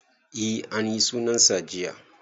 E anyi sunan sa jiya